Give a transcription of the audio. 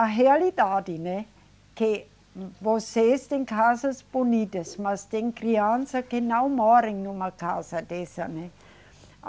A realidade, né, que vocês têm casas bonitas, mas tem criança que não mora numa casa dessa, né.